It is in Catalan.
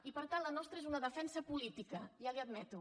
i per tant la nostra és una defensa política ja li ho admeto